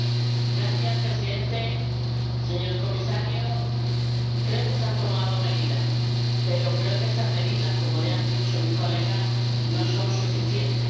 Señor Presidente, señor Comisario, creo que se han tomado medidas, pero creo que estas medidas −como le han dicho mis colegas− no son suficientes.